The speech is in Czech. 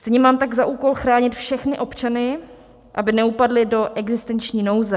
Stejně tak mám za úkol chránit všechny občany, aby neupadli do existenční nouze.